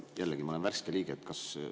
Jällegi, ma olen värske liige, kas …